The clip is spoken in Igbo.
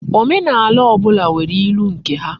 Omenaala obula nwere ilu nke ha